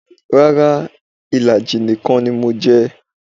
Rárá, ìlàjì nìkan ni mo jẹ